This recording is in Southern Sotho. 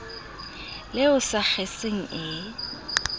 le o sa kgeseng e